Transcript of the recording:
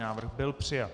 Návrh byl přijat.